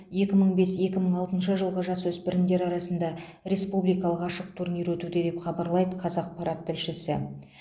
екі мың бес екі мың алтыншы жылғы жасөспірімдер арасында республикалық ашық турнир өтуде деп хабарлайды қазақпарат тілшісі